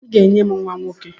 I ga-enye m nwa nwoke!